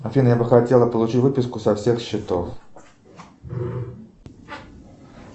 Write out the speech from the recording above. афина я бы хотел получить выписку со всех счетов